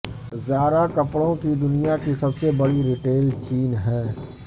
زارا کپڑوں کی دنیا کی سب سے بڑی ریٹیل چین ہے